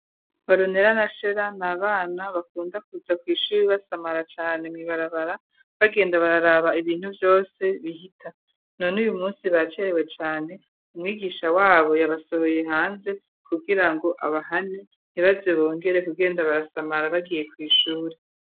Baronera na Shera ni abana bakunda kuza ku ishuri basamara cane, mu ibarabara bagenda bararaba ibintu vyose bihita, none uyu munsi bacerewe cane umwigisha wabo yabasohoye hanze kugira ngo abahane, ntibaze bongere kugenda barasamara bagiye ku ishuri.